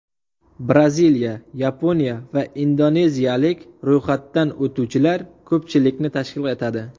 Braziliya, Yaponiya va indoneziyalik ro‘yxatdan o‘tuvchilar ko‘pchilikni tashkil etadi.